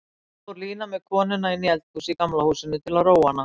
Svo fór Lína með konuna inní eldhús í Gamla húsinu til að róa hana.